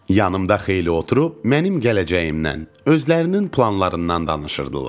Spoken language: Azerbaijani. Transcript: Yanımda xeyli oturub mənim gələcəyimdən, özlərinin planlarından danışırdılar.